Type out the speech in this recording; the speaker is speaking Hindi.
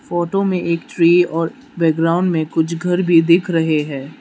फोटो में एक ट्री और बैकग्राउंड में कुछ घर भी दिख रहे हैं।